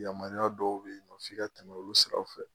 Yamaruya dɔw be yen nɔ f'i ka tɛmɛ olu sira fɛ